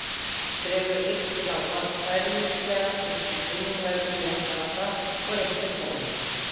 Dregur einn bláan kæruleysislega upp úr innanverðum jakkavasa og réttir honum.